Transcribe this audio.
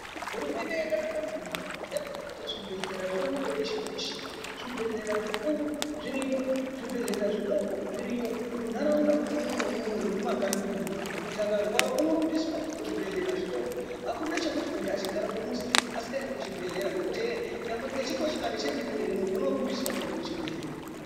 Hurumende yakanaka maningi yakaita kuti zvi bhedhlera zvionekwe peshe peshe zvi bhedhlera zvikuru zviriyo zvi bhedhlera zvidoko zviriyo munharaunda mwona mwomwomwo ne mu makanyi mwomwo muntu akarwara uno rumbiswa ku chi bhedhlera chitoko akuna chekuti muntu achigara pamuzi asinga endi ku chibhedhleya ngekutu hee nyangwe nechi kochikari chemene mene muntu uno rumbiswa kuenda ku chibhedhleya.